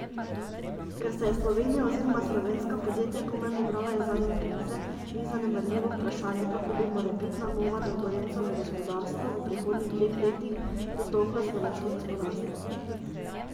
Ker se je Slovenija oziroma slovenska podjetja komaj pobrala iz zadnje krize, ni zanemarljivo vprašanje, kako bi morebitna nove turbulence v gospodarstvu v prihodnjih dveh letih dotolkle slovensko gospodarstvo.